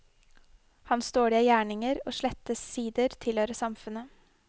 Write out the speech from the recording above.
Hans dårlige gjerninger og slette sider tilhører samfunnet.